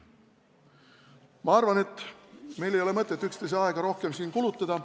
Ma arvan, et meil ei ole mõtet üksteise aega siin rohkem kulutada.